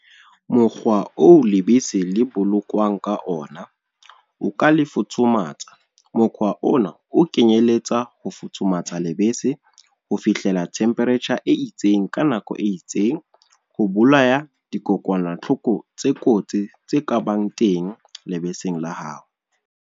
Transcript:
Mokgwa oo lebese le bolokwang ka ona. O ka le futhumatsa, mokgwa ona o kenyeletsa ho futhumatsa lebese ho fihlela temperature e itseng ka nako e itseng. Ho bolaya dikokwanahloko tse kotsi tse kabang teng lebese la hao.